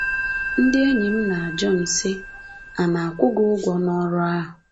Ndị enyi m na-ajụ m sị, ‘A na-akwụ gị ụgwọ n’ọrụ ahụ?